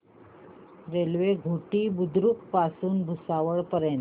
railway Ghoti Budruk पासून भुसावळ पर्यंत